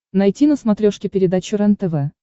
найти на смотрешке передачу рентв